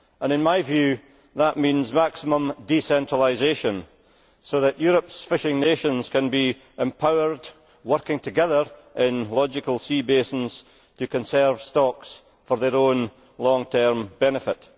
In my view, that means maximum decentralisation so that Europe's fishing nations can be empowered, working together in logical sea basins to conserve stocks for their own long term benefit